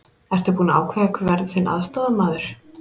Ertu búinn að ákveða hver verður þinn aðstoðarmaður?